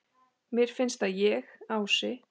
Mér finnst að ég, Ási